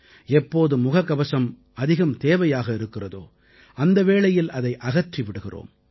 எப்போது முகக்கவசம் அதிகம் தேவையாக இருக்கிறதோ அந்த வேளையில் அதை அகற்றி விடுகிறோம்